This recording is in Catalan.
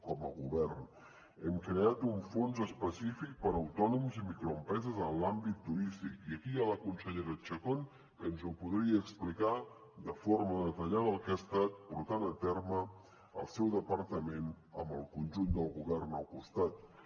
com a govern hem creat un fons específic per a autònoms i microempreses en l’àmbit turístic i aquí hi ha la consellera chacón que ens podria explicar de forma detallada el que ha estat portant a terme el seu departament amb el conjunt del govern al costat